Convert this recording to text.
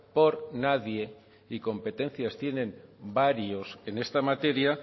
por nadie y competencias tienen varios en esta materia